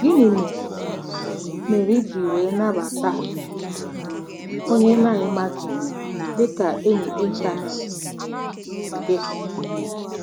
Gịnị mere mere, iji were nabata um onye ị na-amaghị dị ka enyi ịntanetị um gị?